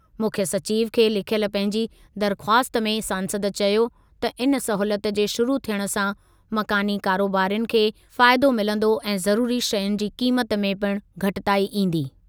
मुख्यु सचिव खे लिखियल पंहिंजी दरख़्वास्त में सांसद चयो त इन सहूलियत जे शुरु थियण सां मकानी कारोबारियुनि खे फ़ाइदो मिलंदो ऐं ज़रुरी शयुनि जी क़ीमत में पिण घटिताई ईंदी।